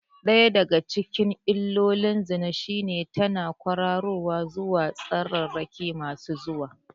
Ɗaya daga cikin illolin zina shine tana ƙwararowa zuwa tsararraki masu zuwa.